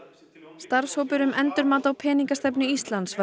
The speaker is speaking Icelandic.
starfshópur um endurmat á peningastefnu Íslands var